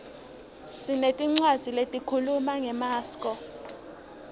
sinetincwadzi lehkhuluma ngemaskco